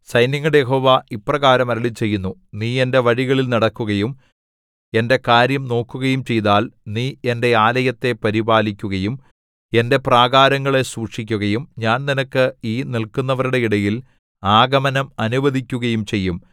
സൈന്യങ്ങളുടെ യഹോവ ഇപ്രകാരം അരുളിച്ചെയ്യുന്നു നീ എന്റെ വഴികളിൽ നടക്കുകയും എന്റെ കാര്യം നോക്കുകയും ചെയ്താൽ നീ എന്റെ ആലയത്തെ പരിപാലിക്കുകയും എന്റെ പ്രാകാരങ്ങളെ സൂക്ഷിക്കുകയും ഞാൻ നിനക്ക് ഈ നില്‍ക്കുന്നവരുടെ ഇടയിൽ ആഗമനം അനുവദിക്കുകയും ചെയ്യും